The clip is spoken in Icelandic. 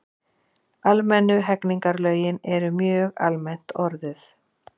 almennu hegningarlögin eru mjög almennt orðuð